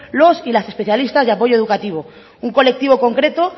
los y las especialistas de apoyo educativo un colectivo concreto